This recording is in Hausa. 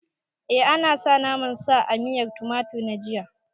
A nasa naman sa a miyan tumatir na jiya